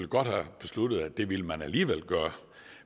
godt have besluttet at det ville man alligevel gøre